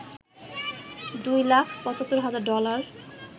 দুই লাখ ৭৫ হাজার ডলার